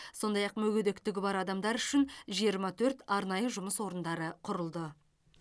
сондай ақ мүгедектігі бар адамдар үшін жиырма төрт арнайы жұмыс орындары құрылды